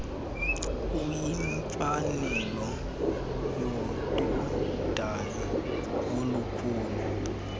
kuyimfanelo yododana olukhulayo